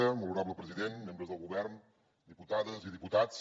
molt honorable president membres del govern diputades i diputats